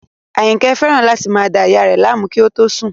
Àyìnkẹ́ fẹ́ràn láti máa da ìyá rẹ̀ láàmú kí ó tó sùn